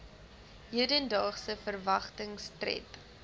hedendaagse verwagtings tred